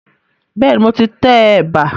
Bẹ́ẹ̀ni, mo ti tẹ ẹ̀bà